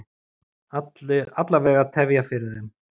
Alla vega tefja fyrir þeim.